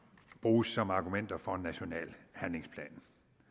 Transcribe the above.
bruges som argumenter for en national handlingsplan